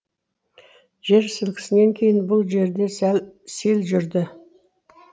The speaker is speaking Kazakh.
жер сілкінісінен кейін бұл жерде сел жүрді